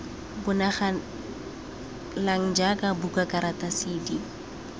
bonagalang jaaka buka karata cd